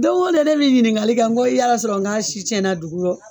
Don o don ne be ɲiningakali kɛ ko yala sɔrɔ a si cɛna dugu rɔ